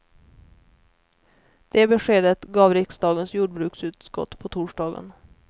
Det beskedet gav riksdagens jordbruksutskott på torsdagen.